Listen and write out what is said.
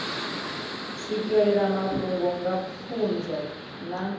swikelela mafhungo nga pfunzo na